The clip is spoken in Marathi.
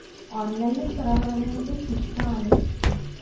online चं कराव्या लागल आणि ते शिकता आलं